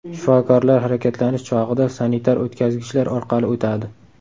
Shifokorlar harakatlanish chog‘ida sanitar o‘tkazgichlar orqali o‘tadi.